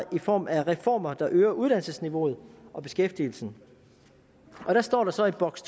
i form af reformer der øger uddannelsesniveauet og beskæftigelsen der står der så i boks